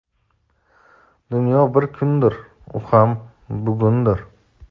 Dunyo bir kundir - u ham bugundir.